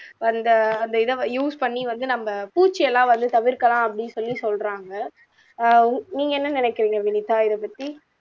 அந்த அந்த இதை use பண்ணி வந்து நம்ம பூச்சி எல்லாம் வந்து தவிர்க்கலாம் அப்படின்னு சொல்லி சொல்றாங்க அஹ் உ நீங்க என்ன நினைக்கிறீங்க வினிதா இதை பத்தி